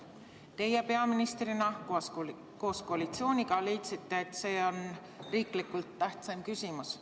Teie peaministrina koos koalitsiooniga leidsite, et see on riiklikult tähtsaim küsimus.